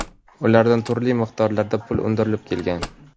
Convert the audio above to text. ulardan turli miqdorlarda pul undirib kelgan.